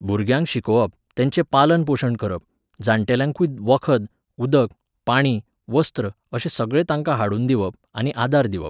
भुरग्यांक शिकोवप, तेंचें पालन पोशण करप, जाण्टेल्यांकूय वखद, उदक, पाणी, वस्त्र अशें सगळें तांकां हाडून दिवप आनी आदार दिवप.